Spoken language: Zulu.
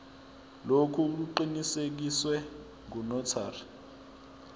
lokhu kuqinisekiswe ngunotary